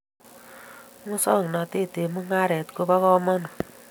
Musong'natet eng mung'aret ko bo kamanut